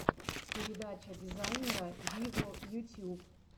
передача дизайнера виво ютьюб